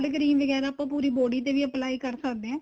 cream ਵਗੈਰਾ ਆਪਾਂ ਪੂਰੀ body ਤੇ ਵੀ apply ਕਰ ਸਕਦੇ ਹਾਂ